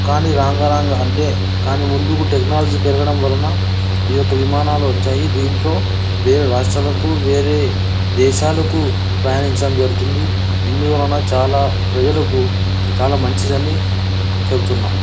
కానీ రంగ రంగ అంటే దాని ముందుకు టెక్నాలజీ పెరగడం వలన ఈ యొక్క విమానాలు వచ్చాయి.దీంట్లో వేరే రాష్ట్రలకు కు వేరే దేశాలకు ప్రయానించడం జరుగుతుంది. ఇందు వలన చాలా ప్రజలకు చాలా మంచిది అనే చెబుతున్నాము.